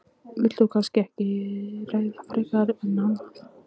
Þú vilt kannski ekki ræða það frekar en annað?